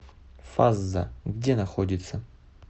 фазза где находится